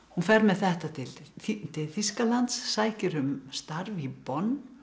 hún fer með þetta til til Þýskalands sækir um starf í